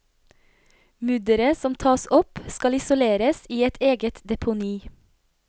Mudderet som tas opp skal isoleres i et eget deponi.